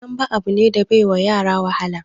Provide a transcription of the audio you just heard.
Dambe abu ne da bai wa yara wahala